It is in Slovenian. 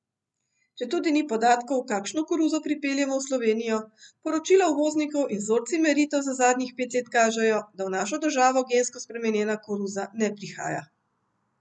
Četudi ni podatkov, kakšno koruzo pripeljemo v Slovenijo, poročila uvoznikov in vzorci meritev za zadnjih pet let kažejo, da v našo državo gensko spremenjena koruza ne prihaja.